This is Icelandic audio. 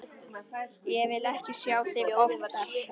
Ég vil ekki sjá þig oftar.